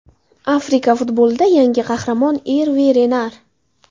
Afrika futbolida yangi qahramon: Erve Renar.